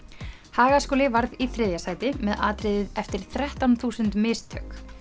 Hagaskóli varð í þriðja sæti með atriðið eftir þrettán þúsund mistök